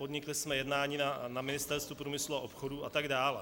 Podnikli jsme jednání na Ministerstvu průmyslu a obchodu a tak dále.